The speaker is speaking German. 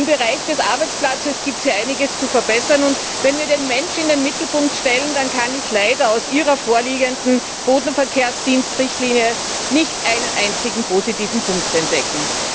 Im Bereich des Arbeitsplatzes gibt es hier einiges zu verbessern, und wenn wir den Menschen in den Mittelpunkt stellen, dann kann ich leider in Ihrer vorliegenden Bodenverkehrsdienstrichtlinie nicht einen einzigen positiven Punkt entdecken.